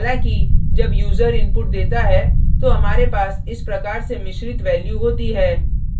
हालाँकि जब user input देता है तो हमारे पास इस प्रकार से मिश्रित values होती है